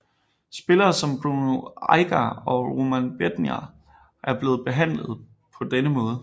Spillere som Bruno Aguiar og Roman Bednář er blevet handlet på denne måde